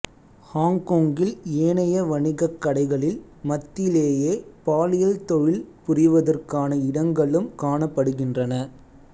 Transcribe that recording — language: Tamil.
ஹொங்கொங்கில் ஏனைய வணிகக் கடைகளின் மத்தியிலேயே பாலியல் தொழில் புரிவதற்கான இடங்களும் காணப்படுகின்றன